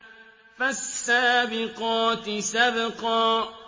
فَالسَّابِقَاتِ سَبْقًا